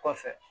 Kɔfɛ